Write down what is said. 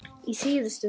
Í síðustu viku.